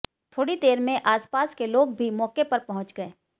थोड़ी देर में आसपास के लोग भी मौके पर पहुंच गए